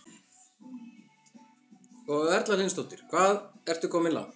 Erla Hlynsdóttir: Og hvað ertu komin langt?